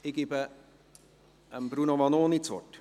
Ich gebe Bruno Vanoni das Wort.